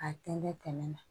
A tɛntɛn tɛmɛ na